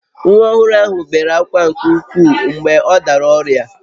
Nwa ọhụrụ ahụ bere ákwá nke ukwuu mgbe ọ dara ọrịa